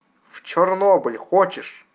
в чернобыль хочешь